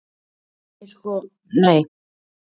Nei sko nei.